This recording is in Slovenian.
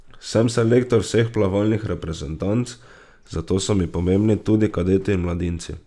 Sem selektor vseh plavalnih reprezentanc, zato so mi pomembni tudi kadeti in mladinci.